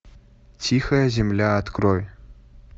тихая земля открой